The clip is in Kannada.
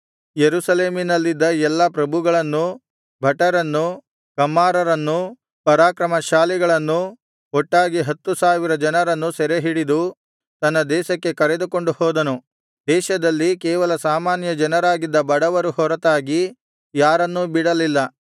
ಯೆರೂಸಲೇಮಿನಲ್ಲಿದ್ದ ಎಲ್ಲಾ ಪ್ರಭುಗಳನ್ನೂ ಭಟರನ್ನೂ ಕಮ್ಮಾರರನ್ನೂ ಪರಾಕ್ರಮಶಾಲಿಗಳನ್ನು ಒಟ್ಟಾಗಿ ಹತ್ತು ಸಾವಿರ ಜನರನ್ನು ಸೆರೆಹಿಡಿದು ತನ್ನ ದೇಶಕ್ಕೆ ಕರೆದುಕೊಂಡು ಹೋದನು ದೇಶದಲ್ಲಿ ಕೇವಲ ಸಾಮಾನ್ಯ ಜನರಾಗಿದ್ದ ಬಡವರು ಹೊರತಾಗಿ ಯಾರನ್ನೂ ಬಿಡಲಿಲ್ಲ